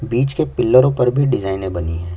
बीच के पिलर पर भी डिजाइने बनी है।